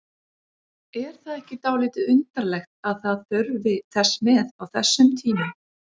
Er það ekki dálítið undarlegt að það þurfi þess með á þessum tíma?